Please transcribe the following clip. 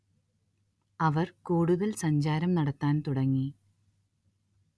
അവര്‍ കൂടുതല്‍ സഞ്ചാരം നടത്താന്‍ തുടങ്ങി